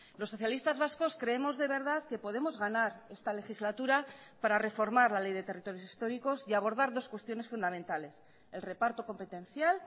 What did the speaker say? los socialistas vascos creemos de verdad que podemos ganar esta legislatura para reformar la ley de territorios históricos y abordar dos cuestiones fundamentales el reparto competencial